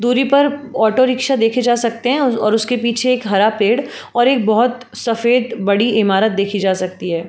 दूरी पर ऑटो-रिक्शा देखे जा सकते है और उसके पीछे एक हरा पेड़ और एक बहोत (बहुत) सफ़ेद बड़ी ईमारत देखी जा सकती है।